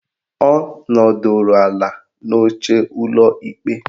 Ọ nọdụrụ ala n'oche ụlọ ikpe